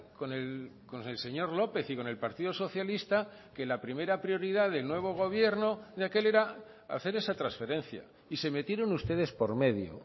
con el señor lópez y con el partido socialista que la primera prioridad del nuevo gobierno de aquel era hacer esa transferencia y se metieron ustedes por medio